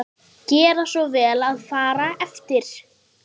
GERA SVO VEL AÐ FARA EFTIR